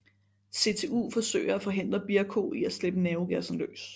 CTU forsøger at forhindre Bierko i at slippe nervegassen løs